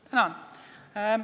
Tänan!